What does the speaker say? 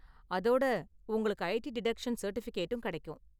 அதோட, உங்களுக்கு IT deduction சர்டிபிகேட்டும் கெடைக்கும்.